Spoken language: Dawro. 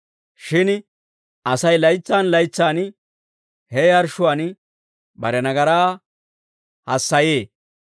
Shin Asay laytsan laytsan he yarshshuwaan bare nagaraa hassayee.